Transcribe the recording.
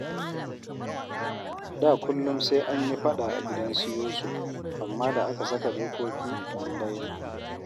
Da kullum sai an yi faɗa a gidansu Yusuf, amma da aka saka dokoki an daina